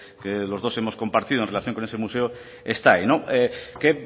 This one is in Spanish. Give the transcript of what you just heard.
que los dos hemos compartido en relación con ese museo está ahí qué